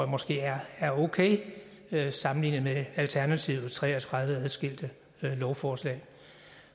måske er okay sammenlignet med alternativet altså tre og tredive adskilte lovforslag